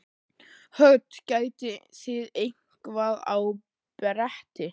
Hödd: Getið þið eitthvað á bretti?